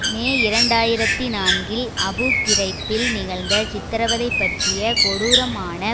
மே இரண்டு ஆயிரத்தி நான்கில் அபு கிறைப்பில் நிகழ்ந்த சித்திரவதை பற்றிய கொடூரமான